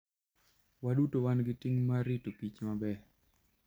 Waduto wan gi ting' mar rito kich maber.